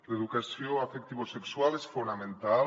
l’educació afectivosexual és fonamental